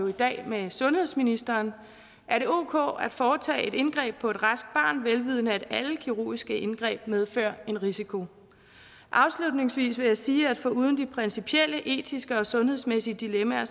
i dag med sundhedsministeren er det ok at foretage et indgreb på et raskt barn vel vidende at alle kirurgiske indgreb medfører en risiko afslutningsvis vil jeg sige at foruden de principielle etiske og sundhedsmæssige dilemmaer